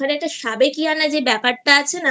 ওখানে একটা সাবেকীয়ানা যে ব্যাপারটা আছে